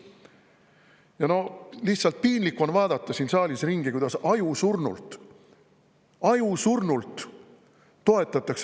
Ja lihtsalt piinlik on vaadata siin saalis ringi, kuidas ajusurnult – ajusurnult!